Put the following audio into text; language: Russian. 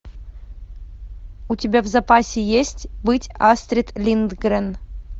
у тебя в запасе есть быть астрид линдгрен